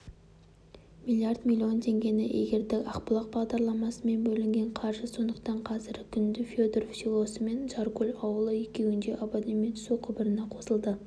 млрд млн теңгені игердік ақбұлақ бағдарламасымен бөлінген қаржы сондықтан қазіргі күнде федоров селосы мен жаркөл ауылы екеуінде абонент су құбырына қосылды